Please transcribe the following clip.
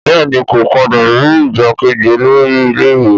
Bẹ́ẹ̀ni kò padà rí igbákejì olórí ilé ìwé